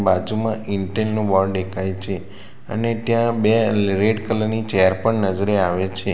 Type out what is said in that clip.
બાજુમાં ઇન્ટેલ નું બોર્ડ દેખાય છે અને ત્યાં લે બે રેડ કલર ની ચેર પણ નજરે આવે છે.